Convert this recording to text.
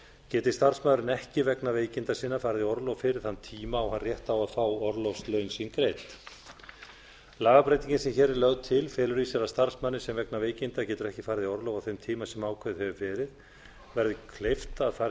geti starfsmaðurinn ekki vegna veikinda sinna farið í orlof fyrir þann tíma á hann rétt á að fá orlofslaun sín greidd lagabreytingin sem hér er lögð til felur í sér að starfsmanni sem vegna veikinda getur ekki farið í orlof á þeim tíma sem ákveðið hefur verið verði kleift að fara í